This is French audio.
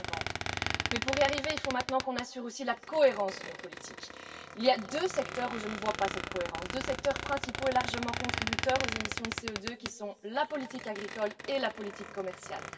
2050. Mais, pour y arriver, il nous faut aussi maintenant assurer la cohérence de nos politiques. Or, il y a deux secteurs dans lesquels je ne vois pas de cohérence, deux secteurs principaux et largement contributeurs aux émissions de CO2 que sont la politique agricole et la politique commerciale.